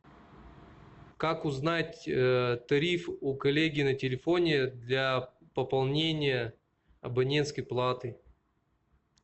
как узнать тариф у коллеги на телефоне для пополнения абонентской платы